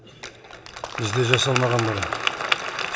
бізде жасалмаған бұрын